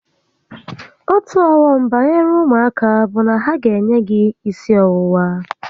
Otu ọghọm banyere ụmụaka bụ na ha ga enye gị gi isi ọwụwa